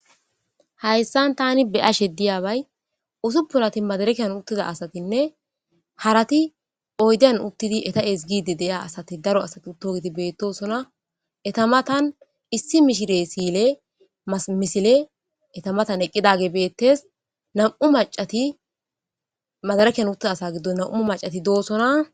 Hayssan tani be ashe diyaabay usuppunati madarakiyan uttida asatinne harati oydan uttidi eta7es giidi deya asati daro asati utogeti beettosona etamatan issi mishire siile amisile etamatan eqqidage beettes nam7u macati madaraekian uttida asa giddo nam7u macati doosona.